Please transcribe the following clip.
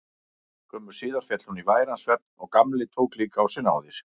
Skömmu síðar féll hún í væran svefn og Gamli tók líka á sig náðir.